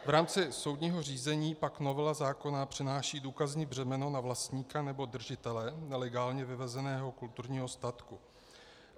V rámci soudního řízení pak novela zákona přenáší důkazní břemeno na vlastníka nebo držitele nelegálně vyvezeného kulturního statku.